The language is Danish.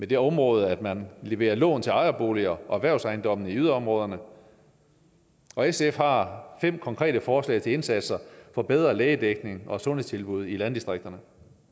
det område at man leverer lån til ejerboliger og erhvervsejendomme i yderområderne sf har fem konkrete forslag til indsatser for bedre lægedækning og sundhedstilbud i landdistrikterne